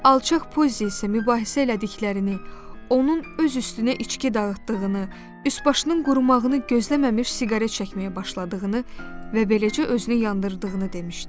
Alçaq Pozi isə mübahisə elədiklərini, onun öz üstünə içki dağıtdığını, üç başının qurumağını gözləməmiş siqaret çəkməyə başladığını və beləcə özünü yandırdığını demişdi.